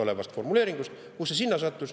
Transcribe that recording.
Kuidas see sinna sattus?